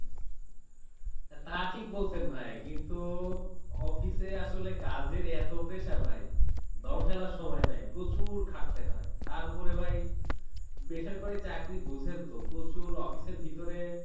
তা ঠিক বলসেন ভাই, কিন্তু office এ আসলে কাজের এতো pressure ভাই দম ফেলার সময় নাই, প্রচুর খাটতে হয়, তার উপরে ভাই, বেসরকারি চাকরি বুঝেন তো প্রচুর office এর ভিতরে